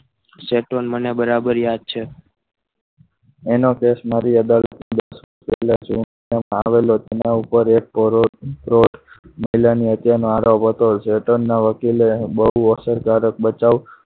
Setrol મને બરાબર યાદ છે એનો case મારી આગળ આવેલો તેના ઉપર કોરો એક મહિલાની હત્યાનો આ રોગ હતો Central ના વકીલે બહુ અસરકારક બચાવ.